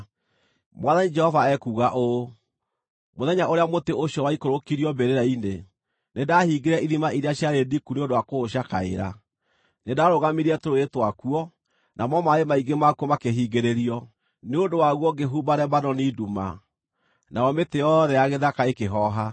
“ ‘Mwathani Jehova ekuuga ũũ: Mũthenya ũrĩa mũtĩ ũcio waikũrũkirio mbĩrĩra-inĩ, nĩndahingire ithima iria ciarĩ ndiku nĩ ũndũ wa kũũcakaĩra; nĩndarũgamirie tũrũũĩ twakuo, namo maaĩ maingĩ makuo makĩhingĩrĩrio. Nĩ ũndũ waguo ngĩhumba Lebanoni nduma, nayo mĩtĩ yothe ya gĩthaka ĩkĩhooha.